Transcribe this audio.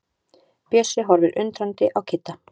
Bjössi horfir undrandi á Kidda.